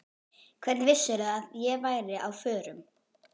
Hvernig vissirðu að ég væri á förum?